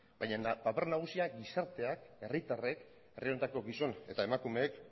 baina paper nagusia gizarteak herritarrek herri honetako gizon eta emakumeek